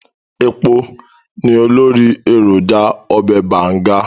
Ẹpo ni olórí èròjà ọbẹ̀ Bàǹga.